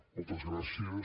moltes gràcies